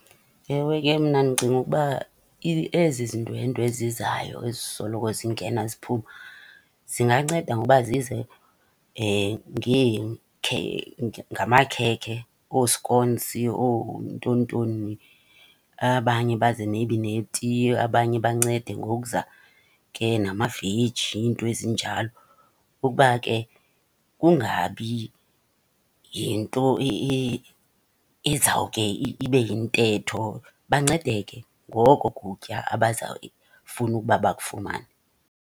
Ewe, ke mna ndicinga ukuba ezi zindwendwe ezizayo ezisoloko zingena ziphuma zinganceda ngoba zize ngamakhekhe, ooskonsi, oontonintoni. Abanye baze neti, abanye bancede ngokuza ke namaveji iinto ezinjalo. Ukuba ke kungabi yinto ezawuke ibe yintetho. Bancedeke ngoko kutya abazawufuna ukuba bakufumane.